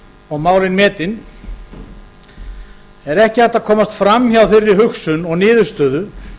og málin metin er ekki hægt að komast fram hjá þeirri hugsun og niðurstöðu